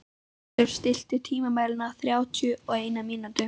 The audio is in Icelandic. Kristrós, stilltu tímamælinn á þrjátíu og eina mínútur.